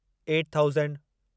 eight thousand